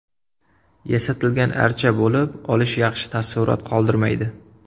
Yasatilgan archa bo‘lib olish yaxshi taassurot qoldirmaydi.